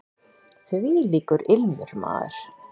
Þvílíkur ilmur, maður!